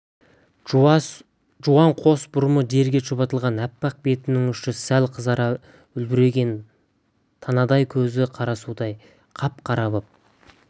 жуан қос бұрымы жерге шұбатылған аппақ бетінің ұшы сәл қызара үлбіреген танадай көзі қарасудай қап-қара боп